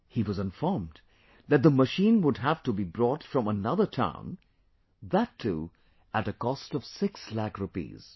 He was informed that the machine would have to be brought from another town, that too at a cost of Six Lakh Rupees